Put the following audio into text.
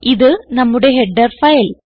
ഇത് നമ്മുടെ header file